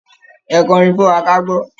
Ẹ kọ orin fún wa kágbọ́!